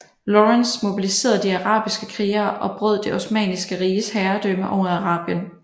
Lawrence mobiliserede de arabiske krigere og brød det osmanniske riges herredømme over Arabien